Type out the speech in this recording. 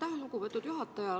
Aitäh, lugupeetud juhataja!